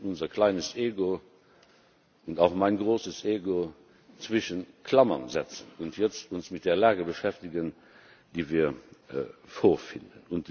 Wir müssen unser kleines Ego und auch mein großes Ego zwischen Klammern setzen und uns jetzt mit der Lage beschäftigen, die wir vorfinden.